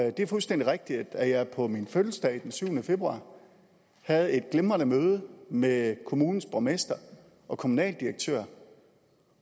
og det er fuldstændig rigtigt at jeg på min fødselsdag den syvende februar havde et glimrende møde med kommunens borgmester og kommunaldirektør